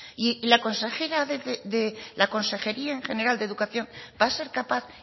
y la consejería en general de educación va a ser capaz